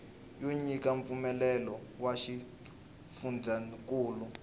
yo nyika mpfumelelo wa xifundzankulu